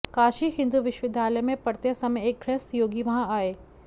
काशी हिन्दू विश्वविद्यालय में पढ़ते समय एक गृहस्थ योगी वहाँ आये